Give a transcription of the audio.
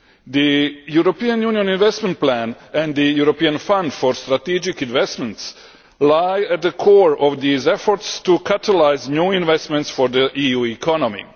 The European Union Investment Plan and the European Fund for Strategic Investments lie at the core of these efforts to catalyse new investments for the EU economy.